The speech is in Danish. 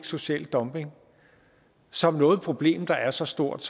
social dumping som noget problem der er så stort